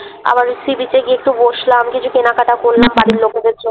আবার গিয়ে Sea-beach একটু বসলাম কিছু কেনাকাটা করলাম বাড়ির লোকেদের জন্যে।